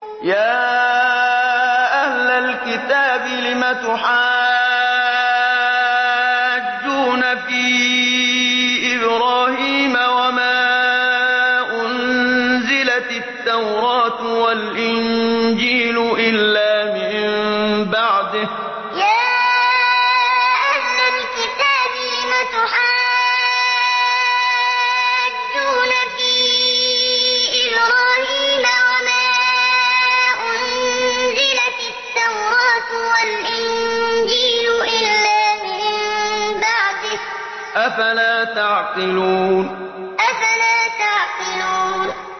يَا أَهْلَ الْكِتَابِ لِمَ تُحَاجُّونَ فِي إِبْرَاهِيمَ وَمَا أُنزِلَتِ التَّوْرَاةُ وَالْإِنجِيلُ إِلَّا مِن بَعْدِهِ ۚ أَفَلَا تَعْقِلُونَ يَا أَهْلَ الْكِتَابِ لِمَ تُحَاجُّونَ فِي إِبْرَاهِيمَ وَمَا أُنزِلَتِ التَّوْرَاةُ وَالْإِنجِيلُ إِلَّا مِن بَعْدِهِ ۚ أَفَلَا تَعْقِلُونَ